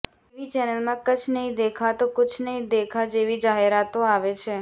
TV ચેનલમાં કચ્છ નહીં દેખાતો કુછ નહીં દેખા જેવી જાહેરાતો આવે છે